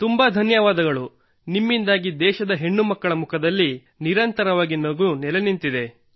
ತುಂಬಾ ಧನ್ಯವಾದಗಳು ನಿಮ್ಮಿಂದಾಗಿ ದೇಶದ ಹೆಣ್ಣುಮಕ್ಕಳ ಮುಖದಲ್ಲಿ ನಗು ನಿರಂತರವಾಗಿ ನೆಲೆ ನಿಂತಿದೆ